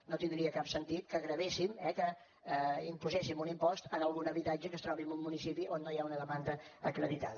no tindria cap sentit que gravessin eh que imposéssim un impost en algun habitatge que es trobi en un municipi on no hi ha una demanda acreditada